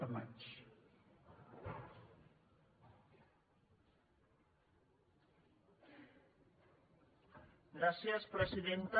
gràcies presidenta